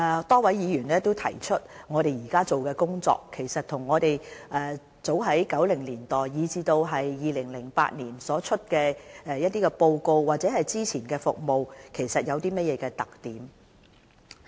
多位議員問及我們目前做的工作與1990年代，以至2008年所公布的一些報告或之前的服務，有甚麼特點。